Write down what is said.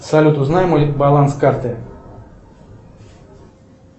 салют узнай мой баланс карты